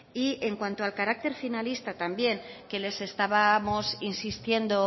y en cuanto al carácter finalista también que les estábamos insistiendo